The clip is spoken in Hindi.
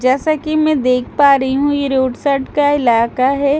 जैसा की मैं देख पा रही हूँ ये रोड़ साइड का इलाका है ।